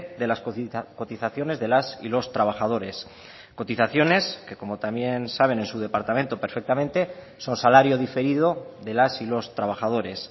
de las cotizaciones de las y los trabajadores cotizaciones que como también saben en su departamento perfectamente son salario diferido de las y los trabajadores